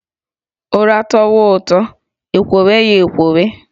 Ụra tọwa ụtọ, e kwowe ya e kwowe